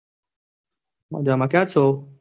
મજા માં ક્યાં છો?